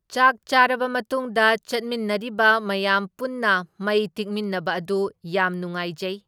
ꯆꯥꯛ ꯆꯥꯔꯕ ꯃꯇꯨꯡꯗ ꯆꯠꯃꯤꯟꯅꯔꯤꯕ ꯃꯌꯥꯝ ꯄꯨꯟꯅ ꯃꯩ ꯇꯤꯛꯃꯤꯟꯅꯕ ꯑꯗꯨ ꯌꯥꯝ ꯅꯨꯡꯉꯥꯏꯖꯩ꯫